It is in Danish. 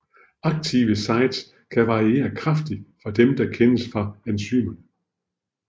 Aktive sites kan variere kraftigt fra dem der kendes fra enzymerne